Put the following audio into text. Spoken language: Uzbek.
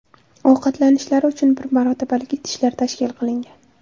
Ovqatlanishlari uchun bir marotabalik idishlar tashkil qilingan.